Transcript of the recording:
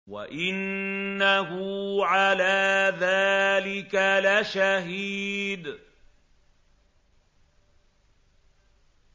وَإِنَّهُ عَلَىٰ ذَٰلِكَ لَشَهِيدٌ